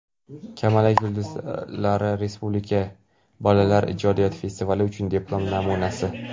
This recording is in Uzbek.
"Kamalak yulduzlari" respublika bolalar ijodiyoti festivali uchun diplom namunasi.